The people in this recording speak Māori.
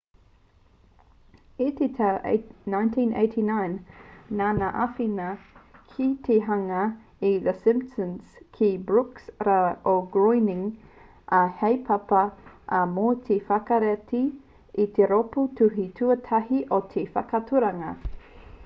i te tau 1989 nāna i āwhina ki te hanga i the simpsons ki a brooks rāua ko groening ā i haepapa ia mō te whakarite i te rōpū tuhi tuatahi o te whakaaturanga